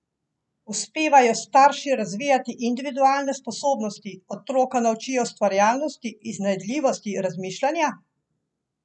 Uspevajo starši razvijati individualne sposobnosti, otroka naučijo ustvarjalnosti, iznajdljivosti, razmišljanja?